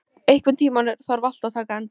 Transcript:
Íma, einhvern tímann þarf allt að taka enda.